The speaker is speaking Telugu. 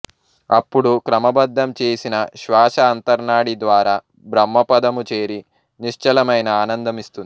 అప్పుడు క్రమబద్ధం చేసిన శ్వాశ అంతర్నాడి ద్వారా బ్రహ్మపదము చేరి నిశ్చలమైన ఆనందం ఇస్తుంది